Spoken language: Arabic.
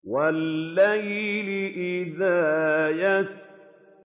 وَاللَّيْلِ إِذَا يَسْرِ